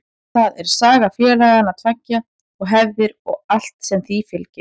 Það er saga félagana tveggja og hefðir og allt sem því fylgir.